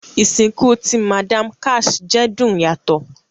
Isinku ti Madam Cash jẹ dun yato